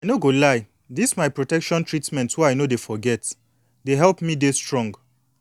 i no go lie dis my protection treatment wey i no dey forget dey help me de strong